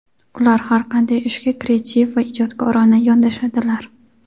Ular har qanday ishga kreativ va ijodkorona yondashadilar.